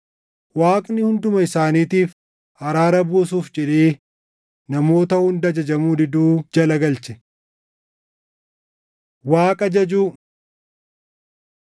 Waaqni hunduma isaaniitiif araara buusuuf jedhee namoota hunda ajajamuu diduu jala galche. Waaqa Jajuu